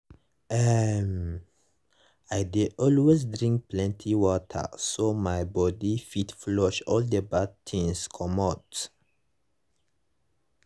ehm - i dey always drink plenty water so my body fit flush all the bad things comot.